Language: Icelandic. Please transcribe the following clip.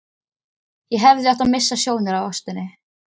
Ég hefði átt að missa sjónar á ástinni.